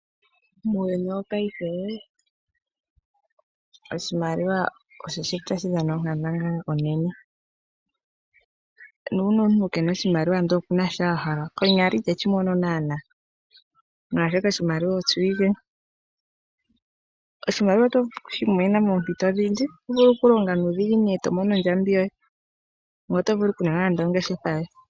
Muuyuni wongashingeyi oshimaliwa osho shili tashi dhana onkandangala onene. Nuuna omuntu kena oshimaliwa ndele okuna shi ahala konyala iteshi mono naanaa, molwaashoka oshimaliwa osho ike. Oshimaliwa otovulu okushimonena moompito odhindji , otovulu okulonga nuudhiginini etomono ondjambi yoye ngoye otovulu okuninga nande ongeshefa yoye.